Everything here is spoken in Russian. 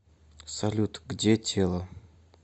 салют где тело